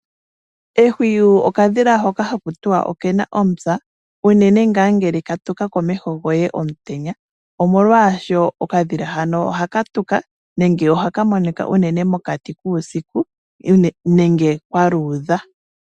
Ehwiyu okadhila hoka hakutiwa okena omupya uunene ngaa ngele katuka komeho goye omutenya omolwasho, okadhila hano oha katuka nenge ohaka monika uunene mokati kuusiku nenge kwa luudha.